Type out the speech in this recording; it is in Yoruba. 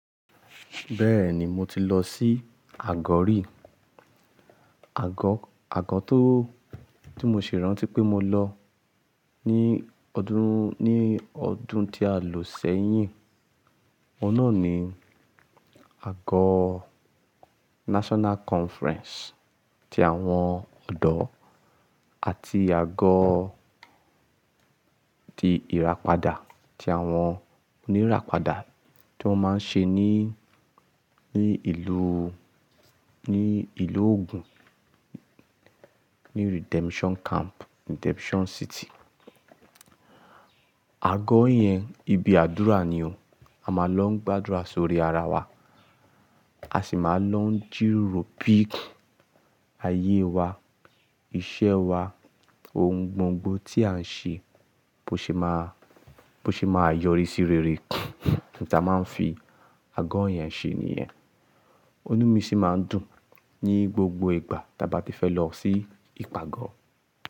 Bẹ́ẹ̀ni mo ti lọ sí àgọ́ rí. Àgọ́, àgọ́ tó, tí mo ṣi rántí pé mo lọ ní ọdún, ní ọdún tí a lò sẹ́yìn. Òun náà ni àgọ́ National Conference ti àwọn ọ̀dọ́ àti àgọ́ ti ìràpadà ti àwọn oníràpadà tí wọ́n máa ń ṣe ní, ní ìlú, ní ìlú Ògùn, ní Redemption Camp, Redemption City. Àgọ́ yẹn ibi àdúrà nìo. A máa lọ ń gbàdúrà sórí ara wa. A sì máa lọ ń jìròò bìì ayé wa, iṣẹ́ wa, ohun gbogbo tí à ń ṣe bó ṣe máa, bó ṣe máa yọrí sí rere. N ta máa ń fi àgọ́ yẹn ṣe nìyẹn. Inumi sì máa ń dùn ní gbogbo ìgbà tí a bá ti fẹ́ lọ sí ìpàgọ́.